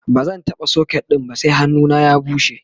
bazan taɓa socket ɗin ba sai hannuna ya bushe